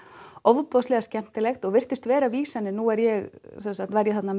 ofboðslega skemmtilegt og virtust vera vísanir nú var ég var ég þarna